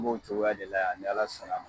N b'o cogoya de la yan ni Ala sɔn na